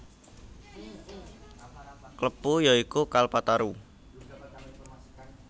Klepu ya iku Kalpataru